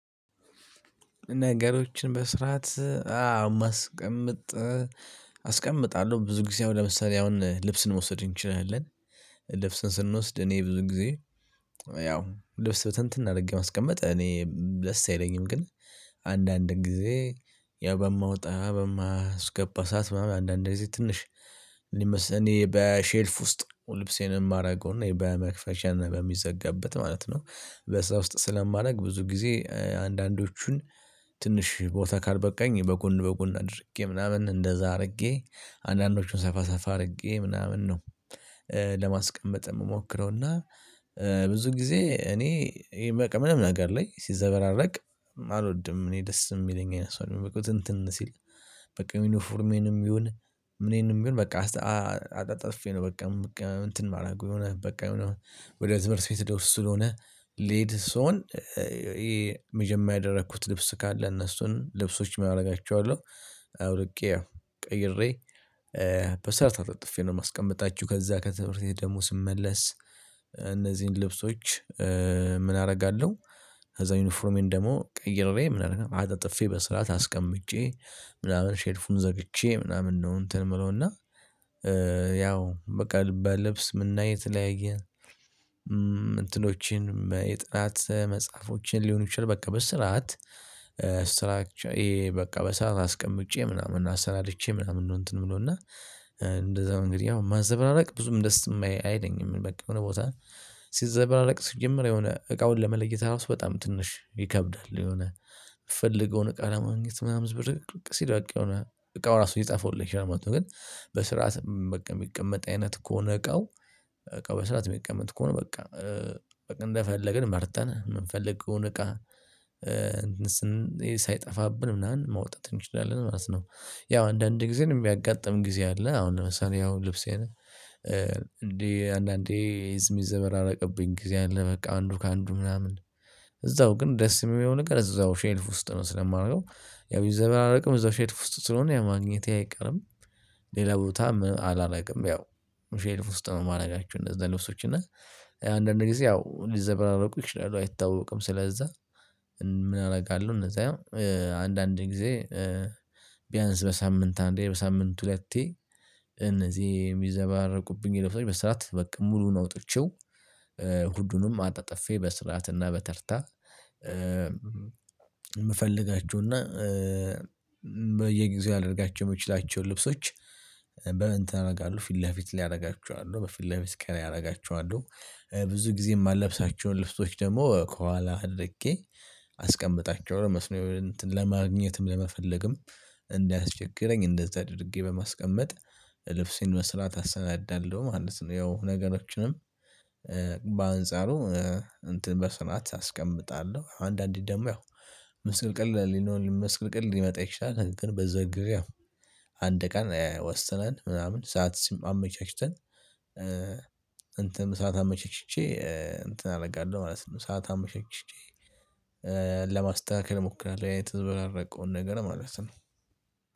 ነገሮችን በስርዓት አስቀምጥ አስቀምጣለሁ። ብዙ ጊዜ ለምሳሌ አሁን ልብስን መውሰድ እንችላለን። ልብስን ስንወስድ እኔ ብዙ ጊዜ ያው ልብስ ብትንትን አድርጌ ማስቀመጥ እኔ ብዙም ደስ አይለኝም። ግን አንዳንድ ጊዜ ያው በማወጣ በማስገባ ሰዓት አንዳንዴ ጊዜ ትንሽ። እኔ በሼልፍ ውስጥ ልብሴን የማደርገውና የባያ መክፈቻን በሚዘጋበት ማለት ነው። ቦርሳ ውስጥ ስለማደርግ ብዙ ጊዜ አንዳንዶቹን ትንሽ ቦታ ካልበቃኝ በጎን በጎን አድርጌ ምናምን እንደዛ አድርጌ አንዳንዶቹን ሰፋ ሰፋ አድርጌ ምናምን ነው። ለማስቀመጥ የምሞክረው እና ብዙ ጊዜ እኔ ምንም ነገር ላይ ሲዘበራረቅ አልወድም። እኔ ደስ የሚለኝ አይነት ሰው አደለውም ብትንትን ሲል። በቃ ዩኒፎርሜንም ይሁን ምኔንም ይሁን በቃ አጣጥፌ ነው በቃ እንትን ማረግ የሆነ በቃ ወደ ትምህርት ቤት ልብስ ስለሆነ ሌሊት ሲሆን ይሄ መጀመሪያ ያደረኩት ልብስ ካለ እነሱን ልብሶችን አደርጋቸዋለሁ። አውልቄ ቀይሬ በስራት ነው አጣጥፌ ነው የማስቀምጣችሁ። ከዛ ከትምህርት ቤት ደሞ ስመለስ እነዚህን ልብሶች ምን አደርጋለሁ? ከዛ ዩኒፎርሜን ደግሞ ቀይሬ ምን አደርጋለሁ አጣጥፌ በስርዓት አስቀምጬ ምናምን ሼፉን ዘግቼ ምናምን ነው። እንትን የምለው እና ያው በቃ ለልብስ እና የተለያየ እንትኖችን የጥናት መጽሐፎችን ሊሆን ይችላል በቃ በስርዓት ስትራክቸር በቃ በሰላም አስቀምጬ ምናምን አሰናድቼ ምናምን እንትን የምል። እንደዛ እንግዲህ ያው ማዘበራረቅ ብዙም ደስ አይለኝም የሆነ ቦታ ሲዘበራረቅ ሲጀመር የሆነ እቃውን ለመለየት ራሱ በጣም ትንሽ ይከብዳል። የሆነ የምፈልገውን እቃ ለማግኘት ምናምን ብዙ ብርቅ ሲዳቅ የሆነ እቃው ራሱ ሊጠፋ ሁሉ ይችላል ማለት ነው። ግን በስርዓት በቃ የሚቀመጥ አይነት ከሆነ እቃው እቃው በስርዓት የሚቀመጥ ከሆነ በቃ እንደፈለግን መርጠን የምንፈልገውን እቃ ምናምን መውጣት እንችላለን ማለት ነው። ያው አንዳንድ ጊዜ የሚያጋጥመን ጊዜ አለ። አሁን ለምሳሌ ያው ልብሴ አንዳንዴ ልብሴ የሚዘበራረቅብኝ ጊዜ አለ። በቃ አንዱ ከአንዱ ምናምን እዛው ግን ደስ የሚሆነው ነገር እዛው ሼልፍ ውስጥ ነው ስለማላወጣው ያው ቢዘበራረቅም እዛው ሼልፍ ውስጥ ስለሆነ ያ ማግኘቴ አይቀርም። ሌላ ቦታ አላደርግም ያው ሼልፍ ውስጥ ነው የማደርጋቸው። እንደዛ ልብሶች እና አንዳንዴ ያው ሊዘበራረቁ ይችላሉ አይታወቅም ስለዛ። እና ምን አደርጋለው እነዛ አንዳንዴ ጊዜ ቢያንስ በሳምንት አንዴ በሳምንት ሁለቴ። እነዚህ የሚዘባረቁብኝ ነገር በስራት በቃ ሙሉውን አውጥቼው። ሁሉንም አጣጥፌ በስራትና በተርታ የምፈልጋቸውና በየጊዜው ላደርጋቸው የምትችላቸውን ልብሶች በምን ታደርጋለህ? ፊት ለፊት አደርጋቸው አይደለም በፊት ለፊት ቀን ያደርጋቸዋለሁ። ብዙ ጊዜ የማልለብሳቸውን ልብሶች ደግሞ ከኋላ አድርጌ አስቀምጣቸዋለሁ። እነሱን ለማግኘትም ለመፈለግም እንዳያስቸግረኝ እንደዛ ድርጌ በማስቀመጥ ልብስን በስርዓት አሰናዳለሁ ማለት ነው። ያው ነገሮችንም በአንጻሩ እንትን በስርዓት አስቀምጣለሁ። አንዳንዴ ደግሞ ያው ምስቅልቅል ሊኖር ምስቅልቅል ሊወጣ ይችላል ግን በዛው ጊዜ አንድ ቀን ወስነን ምናምን ሰዓት አመቻችተን። እንትን ሰዓት አመቸችቼ እንትን አደርጋለሁ ማለት ነው። ሰዓት አመቸችቼ ለማስተካከል እሞክራለሁ ያ የተዘበራረቀውን ነገር ማለት ነው።